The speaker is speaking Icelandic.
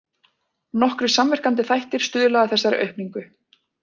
Nokkrir samverkandi þættir stuðla að þessari aukningu.